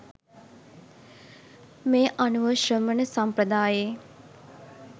මේ අනුව ශ්‍රමණ සම්ප්‍රදායේ